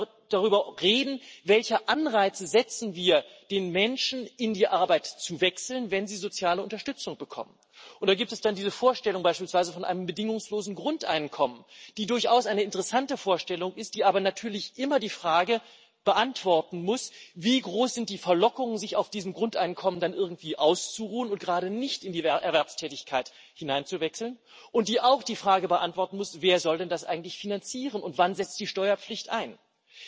wir müssen noch darüber reden, welche Anreize wir den Menschen setzen, in die Arbeit zu wechseln, wenn sie soziale Unterstützung bekommen. Da gibt es dann beispielsweise diese Vorstellung von einem bedingungslosen Grundeinkommen, die durchaus eine interessante Vorstellung ist, die aber natürlich immer die Frage beantworten muss, wie groß die Verlockungen sind, sich auf diesem Grundeinkommen dann irgendwie auszuruhen und gerade nicht in die Erwerbstätigkeit hineinzuwechseln, und die auch die Frage beantworten muss, wer das denn eigentlich finanzieren soll und wann die Steuerpflicht einsetzt.